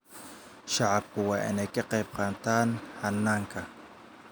Shacabku waa in ay ka qaybqaataan hannaanka.